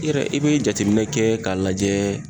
I yɛrɛ i be jateminɛ kɛ k'a lajɛ